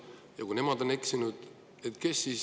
Aga kui nemad eksivad,?